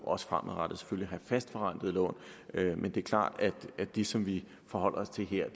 også fremadrettet at have fastforrentede lån men det er klart at det som vi forholder os til her jo